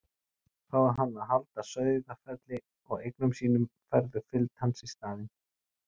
Fái hann að halda Sauðafelli og eigum sínum færðu fylgd hans í staðinn.